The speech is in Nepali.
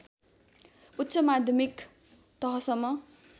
उच्च माध्यमिक तहसम्म